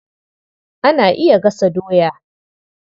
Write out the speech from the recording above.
Ana iya gasa doya.